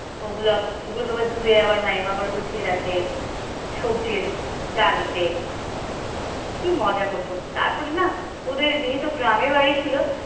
ওগুলো আ ওগুলো আবার ধুয়ে মামিমা গুছিয়ে রাখে সবজির জালিতে কি মজা হত তারপর না ওদের যেহেতু গ্রামে বাড়ি ছিল।